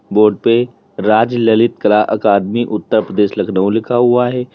Board पे Raj Lalit Kala academy Uttar Pradesh Lucknow लिखा हुआ है।